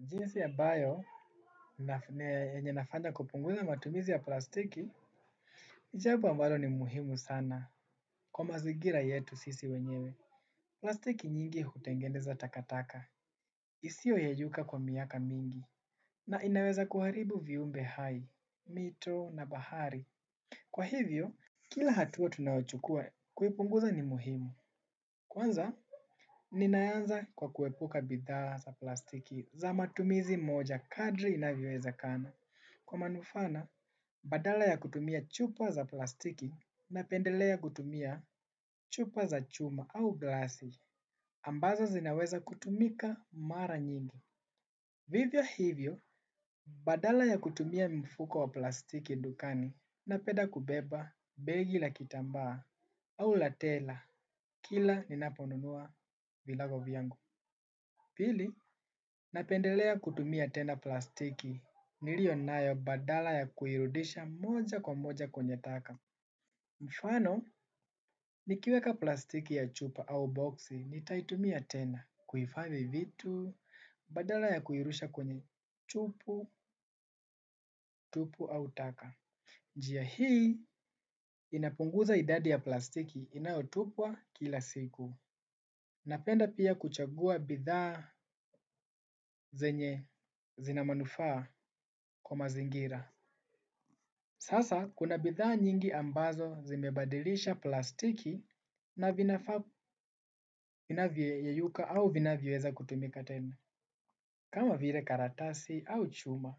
Jinsi ambayo yenye nafanya kupunguza matumizi ya plastiki ni jambo ambalo ni muhimu sana kwa mazingira yetu sisi wenyewe. Plastiki nyingi hutengeneza takataka isio yeyuka kwa miaka mingi. Na inaweza kuharibu viumbe hai, mito na bahari. Kwa hivyo kila hatua tunaochukua kuipunguza ni muhimu. Kwanza ninaanza kwa kuepuka bidhaa za plastiki za matumizi moja kadri inavyowezekana. Kwa manufaa na badala ya kutumia chupa za plastiki napendelea kutumia chupa za chuma au glasi ambazo zinaweza kutumika mara nyingi. Vivyo hivyo, badala ya kutumia mifuko wa plastiki dukani napenda kubeba begi la kitambaa au la tela. Kila ninaponunua virago vyangu. Pili napendelea kutumia tena plastiki nilio nayo badala ya kuirudisha moja kwa moja kwenye taka. Mfano, nikiweka plastiki ya chupa au boxi, nitaitumia tena, kuhifadhi vitu, badala ya kuirusha kwenye chupu, tupu au taka. Njia hii, inapunguza idadi ya plastiki inayotupwa kila siku. Napenda pia kuchagua bidhaa zenye zina manufaa kwa mazingira. Sasa, kuna bidhaa nyingi ambazo zimebadilisha plastiki na vinafaa vinavyoyeyuka au vinavyoweza kutumika tena, kama vile karatasi au chuma.